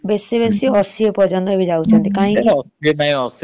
ଶହେ କୋଡିଏ last ଏମତି । ଆଉ ଏବେର ଯୁଗର ମାନେ ସତୁରୀ ଅଶି ବେଶୀ ରେ ଅଶି ପର୍ଯନ୍ତ ଯାଉଛନ୍ତି।